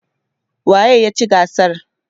waye ya ci gasar?